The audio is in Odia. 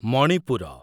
ମଣିପୁର